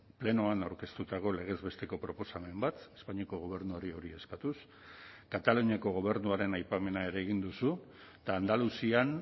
plenoan aurkeztutako legez besteko proposamen bat espainiako gobernuari hori eskatuz kataluniako gobernuaren aipamena ere egin duzu eta andaluzian